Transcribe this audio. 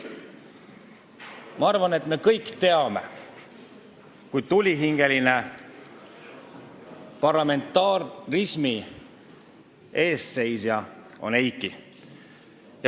Ma arvan, et me kõik teame, kui tulihingeline parlamentarismi eestseisja on Eiki.